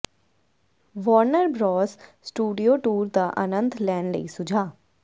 Warner Bros studio tour ਦਾ ਆਨੰਦ ਲੈਣ ਲਈ ਸੁਝਾਅ